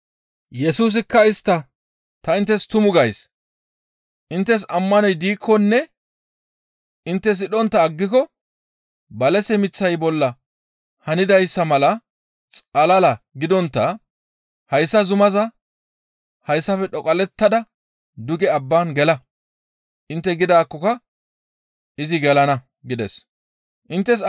Yesusikka istta, «Ta inttes tumu gays; inttes ammanoy diikkonne intte sidhontta aggiko balase miththay bolla hanidayssa mala xalala gidontta hayssa zumaa, ‹Hayssafe dhoqallettada duge abban gela› intte gidaakkoka izi gelana» gides. Balase ayfe maxizaade